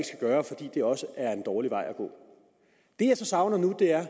gøre fordi det også er en dårlig vej at gå det jeg savner nu er at